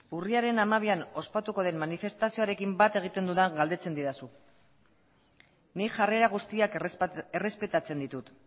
urriaren hamabian ospatuko den manifestazioarekin bat egiten dudan galdetzen didazu nik jarrera guztiak errespetatzen ditut